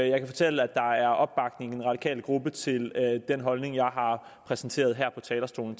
jeg kan fortælle at der er opbakning i den radikale gruppe til den holdning jeg har præsenteret fra talerstolen